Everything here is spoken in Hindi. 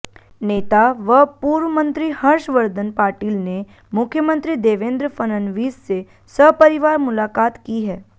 नेता व पूर्व मंत्री हर्षवर्धन पाटील ने मुख्यमंत्री देवेंद्र फडणवीस से सपरिवार मुलाकात की है